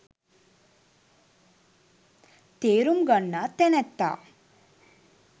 තේරුම් ගන්නා තැනැත්තා